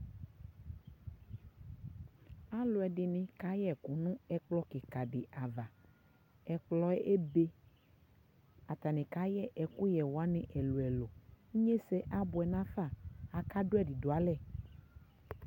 Alu ɛdini ka yɛ ku nu ɛkplɔ kika di avaƐkplɔ yɛ ɛbeAta ni ka yɛ ɛku yɛ wa ni ɛluelueluInye sɛ abuɛ na faAka du ɛdi du alɛ